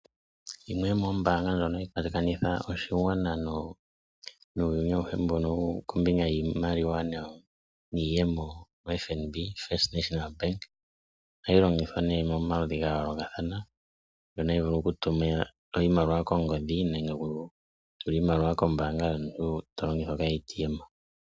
Yimwe yomoombaanga ndjoka hayi kwatakanitha oshigwana nuuyuni auhe kombinga yiimaliwa niiyemo oFNB (First National Bank), ohayi longithwa nduno momaludhi ga yoolokathana, ndjono hayi vulu okutuma oshimaliwa kongodhi nenge okutula iimaliwa komayalulo gombaanga yomuntu to longitha omashina gopondje.